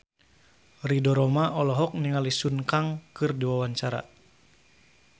Ridho Roma olohok ningali Sun Kang keur diwawancara